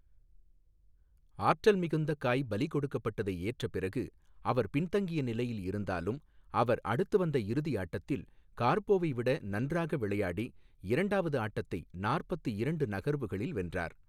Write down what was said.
ஆற்றல் மிகுந்த காய் பலிகொடுக்கப்பட்டதை ஏற்ற பிறகு, அவர் பின்தங்கிய நிலையில் இருந்தாலும் அவர் அடுத்து வந்த இறுதியாட்டத்தில் கார்போவைவிட நன்றாக விளையாடி இரண்டாவது ஆட்டத்தை நாற்பத்து இரண்டு நகர்வுகளில் வென்றார்.